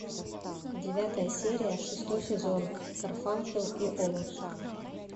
девятая серия шестой сезон гарфанкел и оутс